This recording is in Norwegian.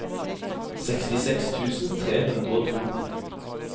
sekstiseks tusen tre hundre og to